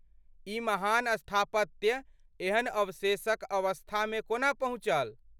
ई महान स्थापत्य एहन अवशेषक अवस्थामे कोना पहुँचल?